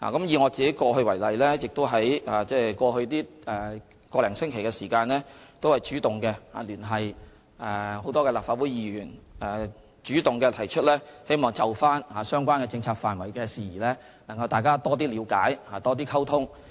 以我為例，在過去1星期，我主動聯繫多位立法會議員，主動提出希望就相關政策範疇事宜，大家多作了解和溝通。